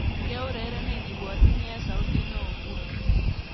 Keureren ibwatyini eng sautit neo nguno